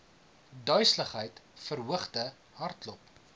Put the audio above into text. duiseligheid verhoogde hartklop